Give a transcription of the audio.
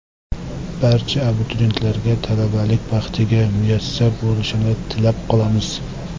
Barcha abituriyentlarga talabalik baxtiga muyassar bo‘lishni tilab qolamiz.